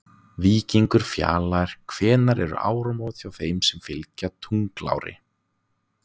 Víkingur Fjalar Hvenær eru áramót hjá þeim sem fylgja tunglári?